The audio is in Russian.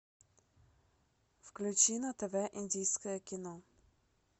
включи на тв индийское кино